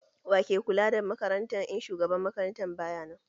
Wa ke kula da makaranta in shugaban makaranta baya nan?